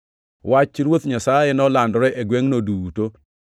Wach Ruoth Nyasaye nolandore e gwengʼno duto.